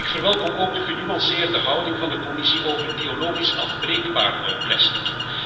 Ik verwelkom ook de genuanceerde houding van de Commissie over biologisch afbreekbaar plastic.